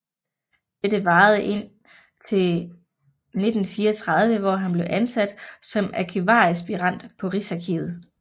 Dette varede indtil 1934 hvor han blev ansat som arkivaraspirant på Rigsarkivet